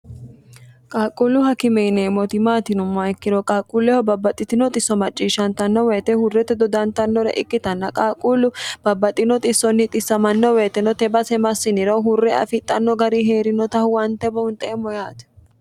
qaaqquullu hakimeineemmoti maatino yinummoha ikkiro qaaqquulleho babbaxxitino xisso macciishshantanno woyite hurrete dodantannore ikkitanna qaaqquullu babbaxino xissonni xissamanno weyiteno tenne base massiniro hurre afidhanno gari hee'rinota huwante bounxeemmo yaate